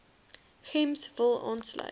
gems wil aansluit